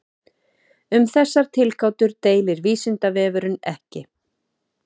Um þessar tilgátur deilir Vísindavefurinn ekki.